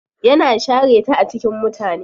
Yana share ta a cikin mutane.